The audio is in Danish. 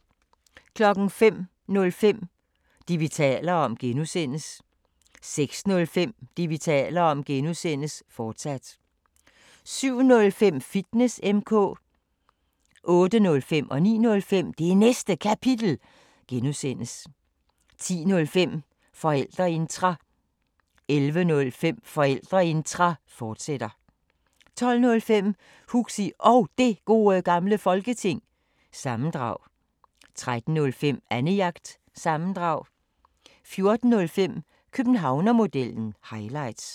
05:05: Det, vi taler om (G) 06:05: Det, vi taler om (G), fortsat 07:05: Fitness M/K 08:05: Det Næste Kapitel (G) 09:05: Det Næste Kapitel (G) 10:05: Forældreintra 11:05: Forældreintra, fortsat 12:05: Huxi Og Det Gode Gamle Folketing- sammendrag 13:05: Annejagt – sammendrag 14:05: Københavnermodellen – highlights